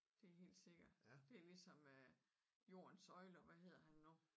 Det helt sikkert det ligesom øh jordens søjler hvad hedder han nu?